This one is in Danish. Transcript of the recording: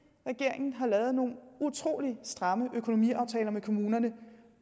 regeringen har lavet nogle utrolig stramme økonomiaftaler med kommunerne